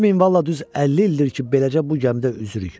Bu minvalla düz 50 ildir ki, beləcə bu gəmidə üzürük.